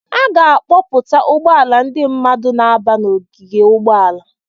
A ga-akpọpụta ụgbọala ndị mmadụ na-aba n'ogige ụgbọala.